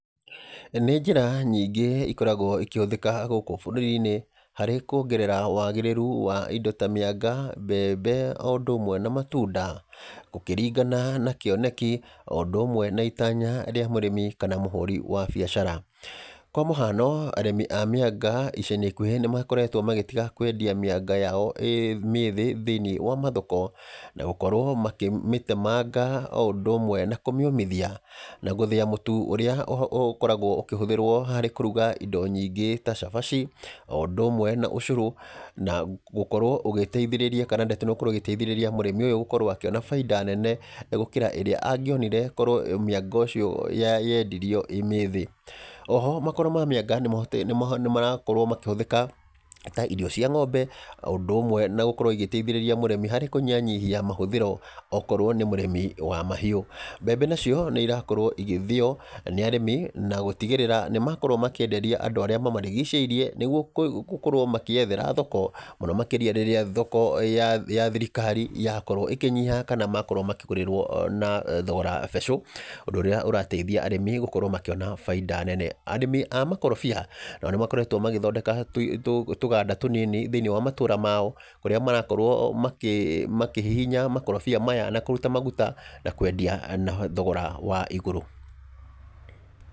Nĩ njĩra nyingĩ ikoragwo ikĩhũthĩka gũkũ bũrũri-inĩ, harĩ kuongerera wagĩrĩru wa indo ta mĩanga, mbembe, o ũndũ ũmwe na matunda. Gũkĩringana na kĩoneki o ũndũ ũmwe na itanya rĩa mũrĩmi kana mũhũri wa biacara. Kwa mũhano, arĩmi a mĩanga ica-inĩ ikuhĩ nĩ makoretwo magĩtiga kwendia mĩanga yao ĩĩ mĩĩthĩ thĩiniĩ wa mathoko, na gũkorwo makĩmĩtemanga o ũndũ ũmwe na kũmĩũmĩthia, na gũthĩa mũtu ũrĩa ũkoragwo ũkĩhũthĩrwo harĩ kũruga indo nyingĩ ta cabaci, o ũndũ ũmwe na ũcũrũ, na gũkorwo ũgĩteithĩrĩria kana ndeto ĩno gũkorwo ĩgĩteithĩrĩria mũrimi ũyũ gũkorwo akĩona baida nene gũkĩra ĩrĩa angĩonire korwo mĩanga ũcio yendirio ĩĩ mĩthĩ. Oho, makoro ma mĩanga nĩ nĩ nĩ marakorwo makĩhũthĩka, ta irio cia ng'ombe, o ũndũ ũmwe na gũkorwo igĩteithĩrĩria mũrĩmi harĩ kũnyihanyihia mahũthĩro okorwo nĩ mũrĩmi wa mahiũ. Mbembe nacio, nĩ irakorwo igĩthĩo, nĩ arĩmi, na gũtigĩrĩra nĩ makorwo makĩenderia andũ arĩa mamarigicĩirie, nĩguo gũkorwo makĩethera thoko. Mũno makĩria rĩrĩa thoko ya thirikari yakorwo ĩkĩnyiha, kana makorwo makĩgũrĩrwo na thogora mbecũ. Ũndũ ũrĩa ũrateithia arĩmi gũkorwo makĩona baida nene. Arĩmi a makorobia, nao nĩ makoretwo magĩthondeka tũganda tũnini thĩiniĩ wa matũũra mao, kũrĩa marakorwo makĩhihinya makorobia maya na kũruta maguta, na kwendia na thogora wa igũrũ.